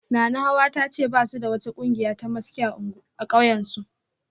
Nanahawa ta ce ba su da wata kungiya ta maski a kauyensu